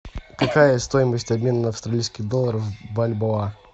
какая стоимость обмена австралийских долларов в бальбоа